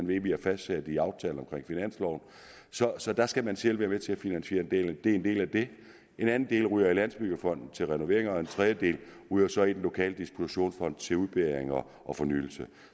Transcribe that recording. vi har fastsat i aftalerne for finansloven så så der skal man selv være med til at finansiere det det er en del af det en anden del ryger i landsbyggefonden til renovering og en tredjedel ryger så i den lokale dispositionsfond til udbedringer og fornyelse